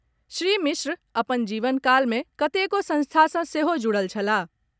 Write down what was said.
श्री मिश्र अपन जीवन काल मे कतेको संस्था सँ सेहो जुड़ल छलाह।